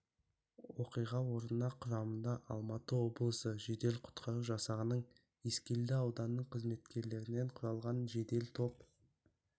оқиға орнына құрамында алматы облысы жедел құтқару жасағының ескелді ауданының қызметкерлерінен құрылған жедел топ